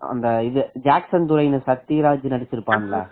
அந்த ஜாக்சன் துரைங்க சத்யராஜ் சத்யராஜ் நடிச்சிருப்பான்ல